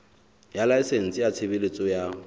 ya laesense ya tshebeletso ya